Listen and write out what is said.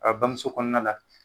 A bamuso kɔnɔna la